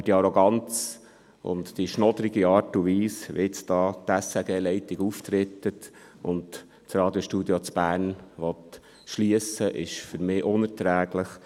Aber die Arroganz und die schnoddrige Art und Weise, wie die SRG-Leitung auftritt und das Radiostudio Bern schliessen will, ist für mich unerträglich.